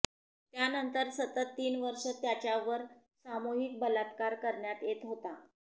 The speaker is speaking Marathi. त्यानंतर सतत तीन वर्षं त्याच्यावर सामूहिक बलात्कार करण्यात येत होता